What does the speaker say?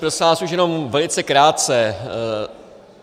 Prosím vás, už jenom velice krátce.